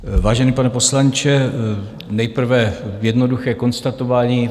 Vážený pane poslanče, nejprve jednoduché konstatování.